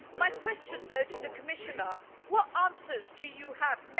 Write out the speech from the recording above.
My question, though, to the Commissioner what answers do you have?